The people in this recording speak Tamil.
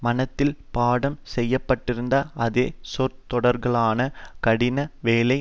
மனத்தில் பாடம் செய்ய பட்டிருந்த அதே சொற்றொடர்களான கடின வேலை